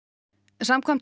samkvæmt